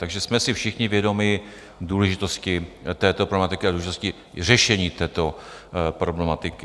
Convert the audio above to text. Takže jsme si všichni vědomi důležitosti této problematiky a důležitosti řešení této problematiky.